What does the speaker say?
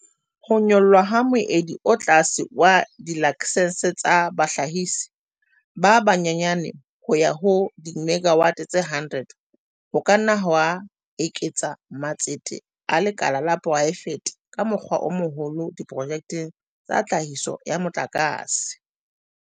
Ho nyollwa ha moedi o tlase wa dilaksense tsa bahlahisi ba banyenyane ho ya ho dimegawate tse 100 ho ka nna ha eketsa matsete a lekala la poraefete ka mokgwa o moholo diprojekteng tsa tlhahiso ya motlakase.